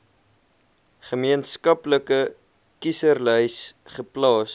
gemeenskaplike kieserslys geplaas